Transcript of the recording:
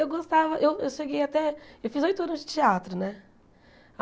Eu gostava... Eu eu cheguei até... Eu fiz oito anos de teatro, né?